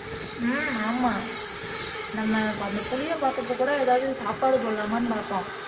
உம் ஆமா நம்ம நம்ம அந்த புலியை பார்த்தப்ப கூட ஏதாவது சாப்பாடு போடலாமான்னு பார்த்தோம்